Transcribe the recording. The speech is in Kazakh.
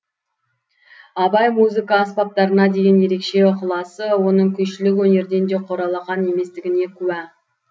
абай музыка аспаптарына деген ерекше ықыласы оның күйшілік өнерден де құр алақан еместігіне куә